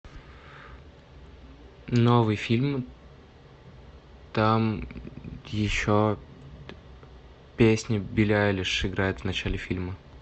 новый фильм там еще песня билли айлиш играет в начале фильма